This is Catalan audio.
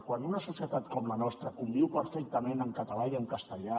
quan una societat com la nostra conviu perfectament en català i en castellà